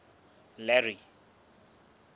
larry